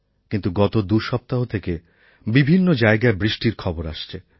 কিন্তু গত দুসপ্তাহ থেকে বিভিন্ন জায়গায় বৃষ্টির খবর আসছে